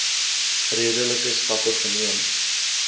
redelike stappe geneem